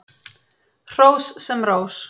Hrós sem rós.